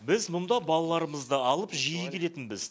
біз мұнда балаларымызды алып жиі келетінбіз